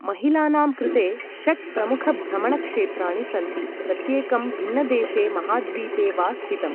महिलानां कृते षट् प्रमुखभ्रमणक्षेत्राणि सन्ति, प्रत्येकं भिन्नदेशे महाद्वीपे वा स्थितम्।